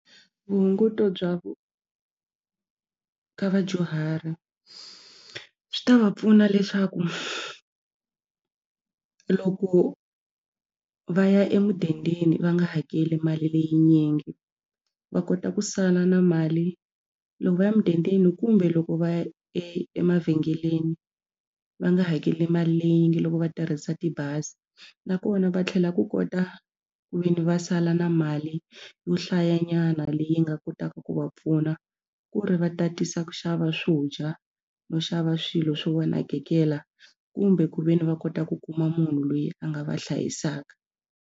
Vuhunguto bya vu ka vadyuhari swi ta va pfuna leswaku loko va ya emudendeni va nga hakeli mali leyinyingi va kota ku sala na mali loko va ya mudendeni kumbe loko va ya e emavhengeleni va nga hakeli mali leyinyingi loko va tirhisa tibazi nakona va tlhela ku kota ku ve ni va sala na mali yo hlayanyana leyi nga kotaka ku va pfuna ku ri va tatisa ku xava swo dya no xava swilo swo va nakekela kumbe ku ve ni va kota ku kuma munhu loyi a nga va hlayisaka.